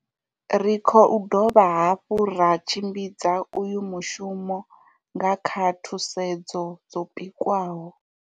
Ri khou dovha hafhu ra tshimbidza uyu mushumo nga kha thusedzo dzo pikwaho.